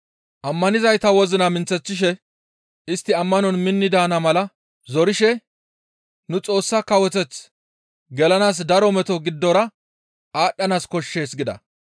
Ammanizayta wozina minththeththishe istti ammanon minni daana mala zorishe, «Nu Xoossa kawoteth gelanaas daro meto giddora aadhdhanaas koshshees» gida.